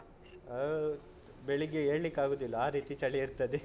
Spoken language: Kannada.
ಹೌದ್ ಬೆಳಿಗ್ಗೆ ಏಳ್ಲಿಕ್ಕೆ ಆಗುದಿಲ್ಲ ಆ ರೀತಿ ಚಳಿ ಇರ್ತದೆ .